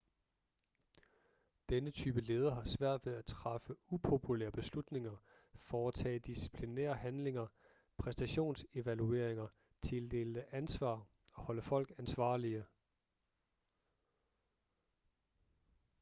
denne type leder har svært ved at træffe upopulære beslutninger foretage disciplinære handlinger præstationsevalueringer tildele ansvar og holde folk ansvarlige